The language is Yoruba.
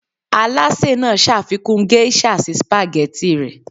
alase naa ṣafikun geisha si spaghetti rẹ